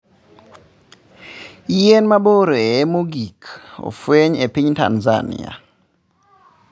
Yien mabor e mogik ofweny epiny Tanzania.